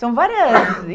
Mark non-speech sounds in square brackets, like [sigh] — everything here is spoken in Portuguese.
São várias [unintelligible]